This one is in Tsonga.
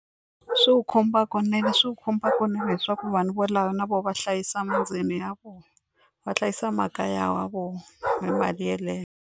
Swi wu khumba kunene swi wu khumba kunene leswaku vanhu valava na vona va hlayisa ya vona va hlayisa makaya wa vona hi mali yeleyo.